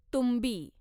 तुंबी